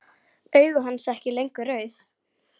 Augu hans ekki lengur rauð.